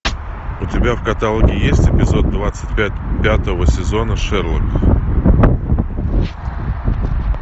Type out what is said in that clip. у тебя в каталоге есть эпизод двадцать пять пятого сезона шерлок